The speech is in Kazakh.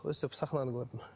өстіп сахнаны көрдім